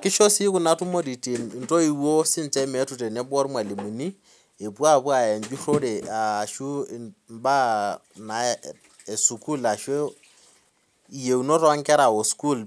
kisho si kuna tumoritin ntoiwuo meetu atua irmalimulini epuo aya enjurore ashu mbaa esukul ashu yieunot onkera osukul